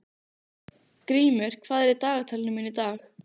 Grímur, hvað er í dagatalinu mínu í dag?